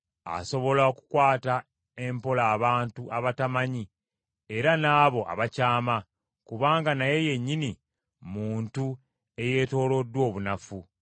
Asobola okukwata empola abantu abatamanyi era n’abo abakyama, kubanga naye yennyini muntu eyeetooloddwa obunafu.